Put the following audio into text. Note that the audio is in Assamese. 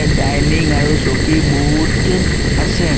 ডাইনিং আৰু চকী বহুত আছে।